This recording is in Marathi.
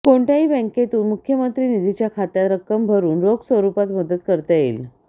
कोणत्याही बॅंकेतून मुख्यमंत्री निधीच्या खात्यात रक्कम भरून रोख स्वरूपात मदत करता येईल